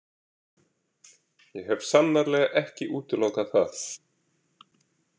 Ég hef sannarlega ekki útilokað það.